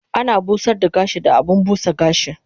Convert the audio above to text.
Ana busar da gashi da abun busa gashi